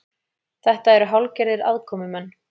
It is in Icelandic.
Þetta eru hálfgerðir aðkomumenn